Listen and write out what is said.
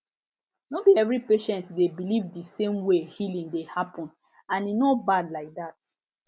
no be every patient dey believe the same way healing dey happen and e no bad like that